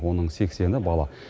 оның сексені бала